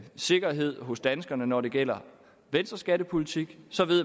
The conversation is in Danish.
sikkerhed hos danskerne når det gælder venstres skattepolitik så ved